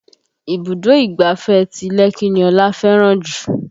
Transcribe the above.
Ibùdó ìgbáfẹ́ ti Lekki ni Ọlá fẹ́ràn jù